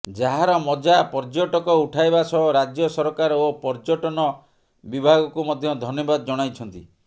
ଯାହାର ମଜା ପର୍ଯ୍ୟଟକ ଉଠାଇବା ସହ ରାଜ୍ୟ ସରକାର ଓ ପର୍ଯ୍ୟଟନ ବିଭାଗକୁ ମଧ୍ୟ ଧନ୍ୟବାଦ ଜଣାଇଛନ୍ତି